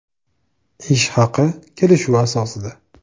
Ish haqi kelishuv asosida.